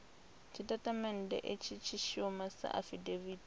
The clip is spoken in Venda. tshitatamennde itsho tshi shuma sa afidaviti